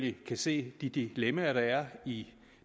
ikke kan se de dilemmaer der er i